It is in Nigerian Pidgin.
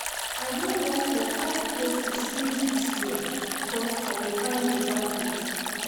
I don work for five places since dis year because I dey find beta pay.